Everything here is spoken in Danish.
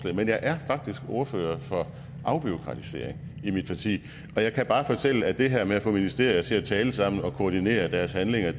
men jeg er faktisk ordfører for afbureaukratisering i mit parti og jeg kan bare fortælle at det her med at få ministerier til at tale sammen og koordinere deres handlinger